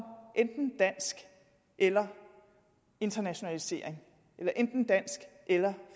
enten dansk eller internationalisering eller enten dansk eller